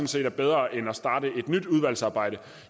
set er bedre end at starte et nyt udvalgsarbejde